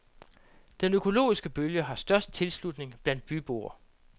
Den økologiske bølge har størst tilslutning blandt byboer.